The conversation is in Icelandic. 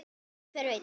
En hver veit!